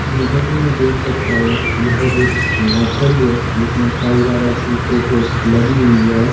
जैसा कि मैं देख सकता हूं यह एक नर्सरी है जिसमें साईं बाबा की फोटो लगी हुई है।